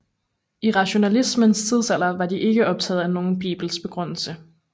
I rationalismens tidsalder var de ikke optaget af nogen bibelsk begrundelse